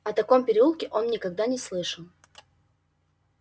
о таком переулке он никогда не слышал